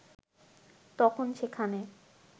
তখন সেখানে